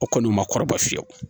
O kɔni ma kɔrɔ fiyewu